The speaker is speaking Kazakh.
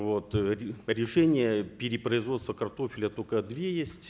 вот э решения перепроизводства картофеля только два есть